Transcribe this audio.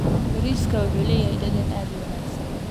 Bariiskani wuxuu leeyahay dhadhan aad u wanaagsan.